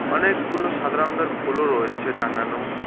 অনেকগুলো সাদা রঙ্গের ফুলও রয়েছে টাঙানো।